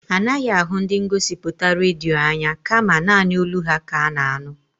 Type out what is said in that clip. Anaghị ahụ ndị ngosipụta redio anya kama naanị olu ha ka a na-anụ.